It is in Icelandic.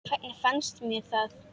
Hvernig fannst mér það?